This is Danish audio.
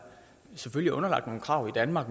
selvfølgelig er underlagt nogle krav i danmark